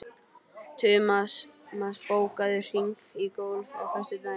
Tumas, bókaðu hring í golf á föstudaginn.